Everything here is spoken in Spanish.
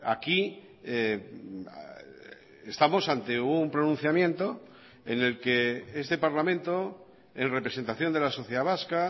aquí estamos ante un pronunciamiento en el que este parlamento en representación de la sociedad vasca